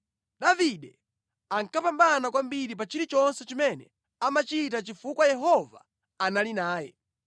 Davide ankapambana kwambiri pa chilichonse chimene amachita chifukwa Yehova anali naye.